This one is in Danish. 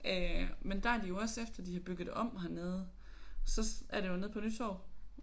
Øh men der er de jo også efter de har bygget om hernede så er det jo nede på Nytorv